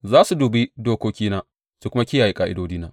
Za su bi dokokina su kuma kiyaye ƙa’idodina.